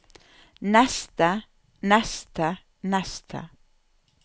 neste neste neste